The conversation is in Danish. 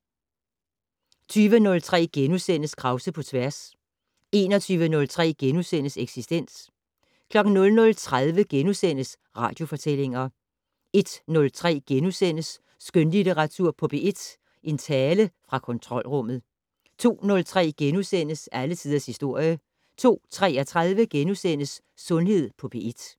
20:03: Krause på tværs * 21:03: Eksistens * 00:30: Radiofortællinger * 01:03: Skønlitteratur på P1 - En tale fra kontrolrummet * 02:03: Alle tiders historie * 02:33: Sundhed på P1 *